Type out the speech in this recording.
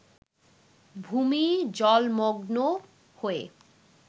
ভুমি জলমগ্ন হয়ে